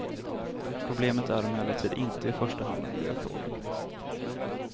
Problemet är emellertid inte i första hand en miljöfråga.